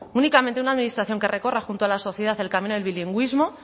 únicamente una administración que recorra junto a la sociedad el camino del bilingüismo